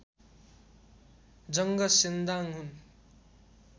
जङ्ग सेन्दाङ हुन्